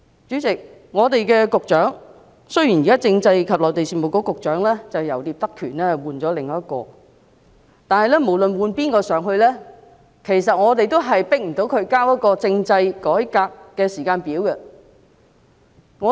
主席，雖然現時政制及內地事務局局長由聶德權換上另一人，但無論換上誰，我們都無法強迫他交出政制改革的時間表。